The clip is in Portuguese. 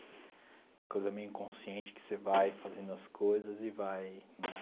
É uma coisa meio inconsciente que você vai fazendo as coisas e vai nè.